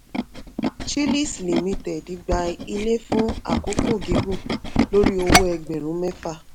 chillies ltd gba ilé fún àkókò gígùn lórí owó ẹgbẹ̀rún mẹ́fà.